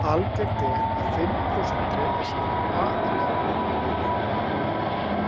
Algengt er að fimm prósent drepist, aðallega ungviði.